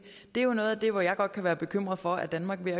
er jo noget af det at jeg godt kan være bekymret for at danmark er